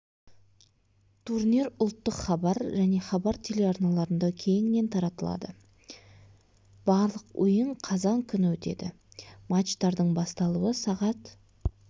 турнир ұлттық хабар және хабар телеарналарында кеңінен таратылады барлық ойын қазан күні өтеді матчтардың басталуы сағат